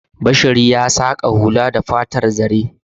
Bashar ya saƙa hula da fatar zare.